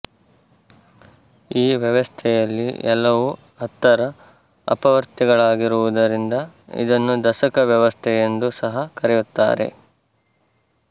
ಈ ವ್ಯವಸ್ಥೆಯಲ್ಲಿ ಎಲ್ಲವೂ ಹತ್ತರ ಅಪವರ್ತ್ಯಗಳಾಗಿರುವುದರಿಂದ ಇದನ್ನು ದಶಕ ವ್ಯವಸ್ಥೆ ಎಂದೂ ಸಹ ಕರೆಯುತ್ತಾರೆ